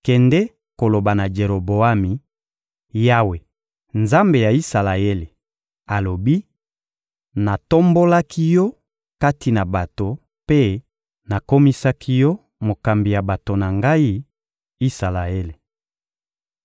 Kende koloba na Jeroboami: «Yawe, Nzambe ya Isalaele, alobi: ‹Natombolaki yo kati na bato mpe nakomisaki yo mokambi ya bato na Ngai, Isalaele.